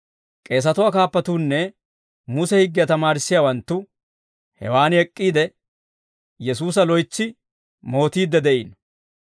K'eesatuwaa kaappatuunne Muse higgiyaa tamaarissiyaawanttu hewaan ek'k'iide, Yesuusa loytsi mootiidde de'iino.